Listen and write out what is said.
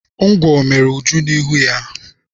Ngwọ mere Uju n'ihu ya.